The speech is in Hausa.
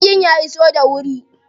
Jirgin ya iso da wuri?